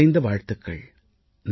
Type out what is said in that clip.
மனம் நிறைந்த வாழ்த்துக்கள்